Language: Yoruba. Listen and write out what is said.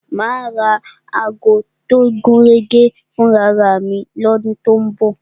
Ma ra ago tó gúnrégé fún ara mi ní ọdún tó ń bọ̀